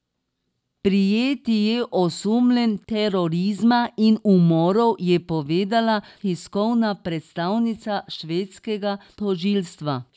Prijeti je osumljen terorizma in umorov, je povedala tiskovna predstavnica švedskega tožilstva.